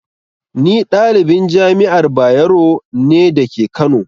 Ni ɗalibin Jami'ar Bayero ne dake kano